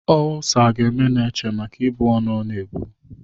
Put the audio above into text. Olsa ga-eme Neche maka ibu ọnụ ọ na-ebu.